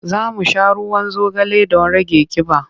Za mu sha ruwan zogale don rage ƙiba.